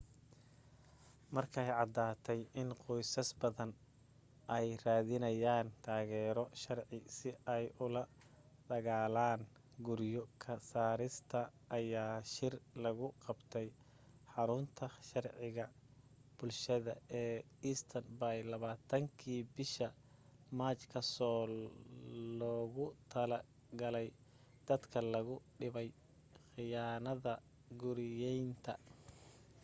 markay caddaatay in qoysas badani ay raadinayaan taageero sharci si ay ula dagaalaan guryo ka saarista ayaa shir lagu qabtay xarunta sharciga bulshada ee east bay 20kii bisha maaj kaasoo loogu talo galay dadka lagu dhibay khiyaanada guriyaynta